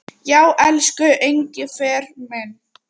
Já, elsku Engifer minn.